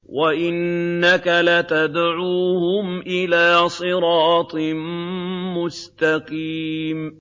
وَإِنَّكَ لَتَدْعُوهُمْ إِلَىٰ صِرَاطٍ مُّسْتَقِيمٍ